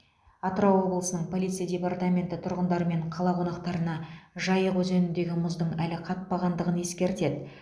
атырау облысының полиция департаменті тұрғындар мен қала қонақтарына жайық өзеніндегі мұздың әлі қатпағандығын ескертеді